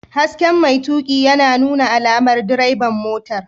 Hasken mai tuƙi yana nuna alamar direban motar.